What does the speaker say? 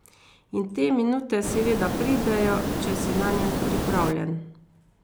In te minute seveda pridejo, če si nanje pripravljen.